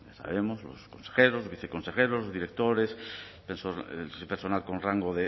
los consejeros viceconsejeros directores personal con rango